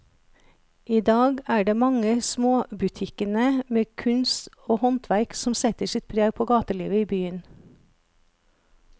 I dag er det de mange små butikkene med kunst og håndverk som setter sitt preg på gatelivet i byen.